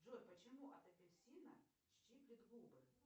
джой почему от апельсина щиплет губы